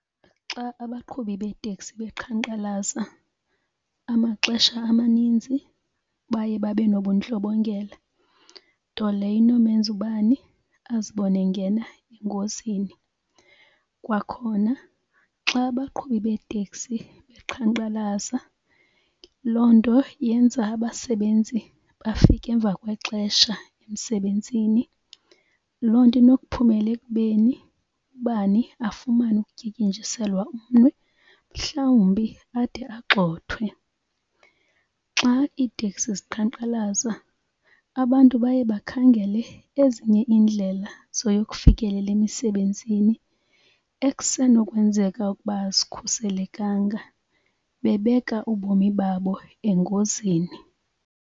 Xa abaqhubi beeteksi beqhankqalaza amaxesha amaninzi baye babe nobundlobongela nto leyo inomenza ubani azibone engena engozini. Kwakhona xa abaqhubi beeteksi beqhankqalaza loo nto yenza abasebenzi bafike emva kwexesha emsebenzini. Loo nto inokuphumela ekubeni ubani afumane ukutyityinjiselwa umnwe mhlawumbi ade agxothwe. Xa iiteksi ziqhankqalaza abantu baye bakhangele ezinye iindlela zoyokufikelela emisebenzini ekusenokwenzeka ukuba azikhuselekanga bebeka ubomi babo engozini.